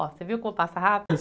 Ó, você viu como passa rápido?